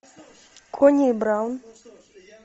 кони и браун